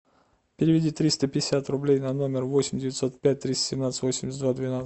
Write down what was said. переведи триста пятьдесят рублей на номер восемь девятьсот пять триста семнадцать восемьдесят два двенадцать